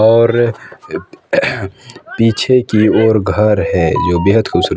और एक अह्ह्ह् पीछे की ओर घर है ये बेहद खूबसूरत--